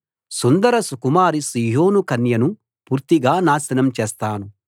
సుందరసుకుమారి సీయోను కన్యను పూర్తిగా నాశనం చేస్తాను